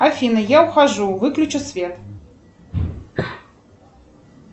афина я ухожу выключи свет